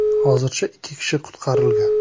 Hozircha ikki kishi qutqarilgan.